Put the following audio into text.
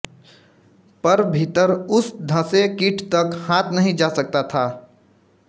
पर भीतर उस धँसे कीट तक हाथ नहीं जा सकता था